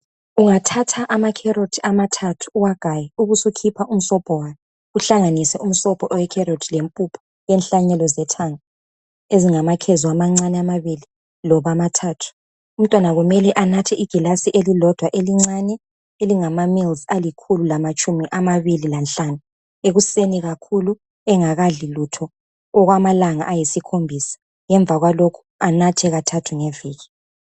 Ungathatha ama carrot amathathu uwagaye ubusukhipha umsobho wawo uhlanganise umsobho owe carrot lempuphu yenhlanyelo zethanga ezingamakhezo amancane amabili loba amathathu . Umntwana kumele anathe igilazi elilodwa elincane elingama ml alikhulu lamatshumi amabili lanhlanu ekuseni kakhulu engakadli lutho okwamalanga ayisikhombisa , ngemva kwalokho anathe kathathu ngeviki